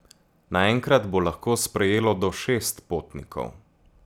Naenkrat bo lahko sprejelo do šest potnikov.